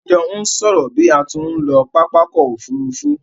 A jo n sòrò bi a tí n lo pápákò òfurufù